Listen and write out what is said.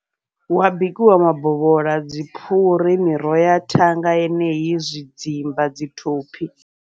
Hua bikiwa mabovhola, dzi phuri, miroho ya thanga yeneyi, zwidzimba, dzi thophi.